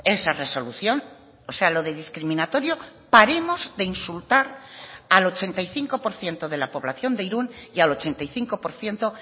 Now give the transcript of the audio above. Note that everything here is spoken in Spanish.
esa resolución o sea lo de discriminatorio paremos de insultar al ochenta y cinco por ciento de la población de irún y al ochenta y cinco por ciento